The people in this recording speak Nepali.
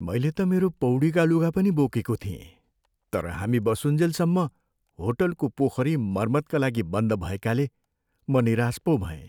मैले त मेरो पौडीका लुगा पनि बोकेको थिएँ तर हामी बसुन्जेलसम्म होटलको पोखरी मर्मतका लागि बन्द भएकाले म निराश पो भएँ।